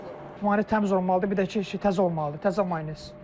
Maynez təmiz olmalıdır, bir də ki, təzə olmalıdır, təzə maynez.